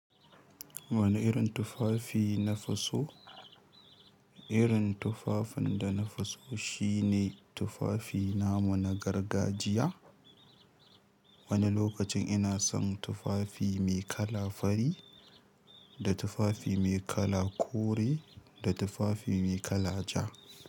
Wani irin tufafi nafiso? Irin tufafin da nafi so shine tufafi namu na gargajiya. Wani lokacin ina son tufafi mai kala fari, da tufafi mai kala kore, da tufafi mai kala ja.